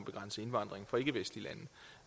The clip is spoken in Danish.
begrænse indvandringen fra ikkevestlige lande